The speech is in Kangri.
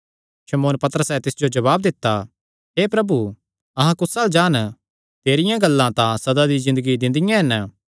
शमौन पतरसैं तिस जो जवाब दित्ता हे प्रभु अहां कुस अल्ल जान तेरियां गल्लां तां सदा दी ज़िन्दगी दिंदियां हन